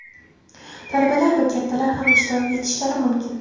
talabalar va kattalar ham ishtirok etishlari mumkin.